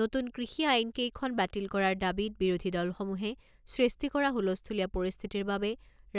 নতুন কৃষি আইনকেইখন বাতিল কৰাৰ দাবীত বিৰোধী দলসমূহে সৃষ্টি কৰা হুলস্থূলীয়া পৰিস্থিতিৰ বাবে